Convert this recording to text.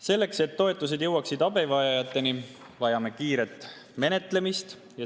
Selleks, et toetused jõuaksid abivajajateni, vajame kiiret menetlemist.